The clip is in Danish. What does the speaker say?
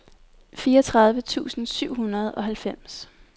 fireogtredive tusind syv hundrede og halvfems